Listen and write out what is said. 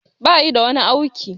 Bayi da wani auki